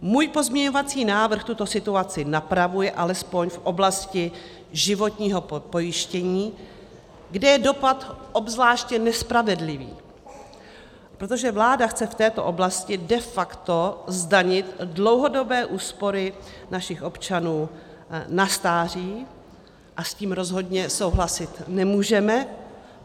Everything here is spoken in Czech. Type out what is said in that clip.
Můj pozměňovací návrh tuto situaci napravuje alespoň v oblasti životního pojištění, kde je dopad obzvláště nespravedlivý, protože vláda chce v této oblasti de facto zdanit dlouhodobé úspory našich občanů na stáří a s tím rozhodně souhlasit nemůžeme.